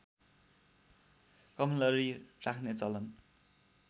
कमलरी राख्ने चलन